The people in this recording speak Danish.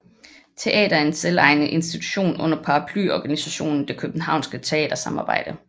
Teatret er en selvejende institution under paraplyorganisationen Det københavnske teatersamarbejde